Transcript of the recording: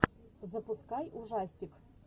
запускай ужастик